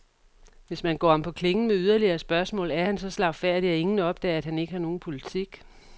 Hvis man går ham på klingen med yderligere spørgsmål, er han så slagfærdig, at ingen opdager, at han ikke har nogen politik.